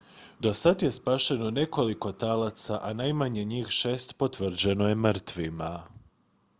dosad je spašeno nekoliko talaca a najmanje njih šest potvrđeno je mrtvima